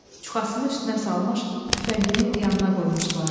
Çuxasını üstünə salmış, tüfəngini yanına qoymuşdular.